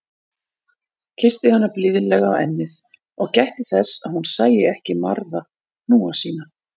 Kyssti hana blíðlega á ennið- og gætti þess að hún sæi ekki marða hnúa sína.